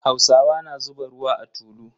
Hausawa na zuba ruwa a tulu.